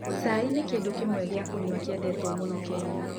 Cai nĩ kĩndũ kĩmwe goa kũnyua kĩendetwo mũno Kenya.